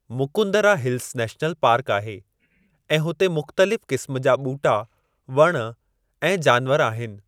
Mukundra hills national park आहे ऐं हुते मुख़्तलिफ़ क़िस्मु जा ॿूटा, वणु ऐं जानवर आहिनि।